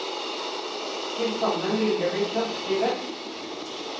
Tilsammen vil det bli kraftig vekst.